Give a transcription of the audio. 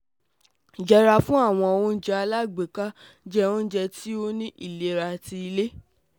Yẹra fun awọn ounjẹ alagbeka, jẹ ounjẹ ti o ni ilera ti ile